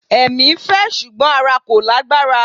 Ẹ̀mí fẹ́ ṣùgbọ́n ara kò lágbára.